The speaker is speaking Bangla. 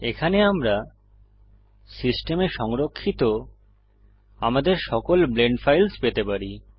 এখানে আমরা সিস্টেমে সংরক্ষিত আমাদের সকল ব্লেন্ড ফাইলস পেতে পারি